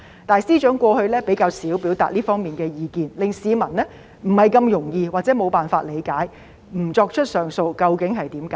但是，司長過去較少表達這方面的意見，令市民不容易或無法理解不提出上訴的原因究竟為何。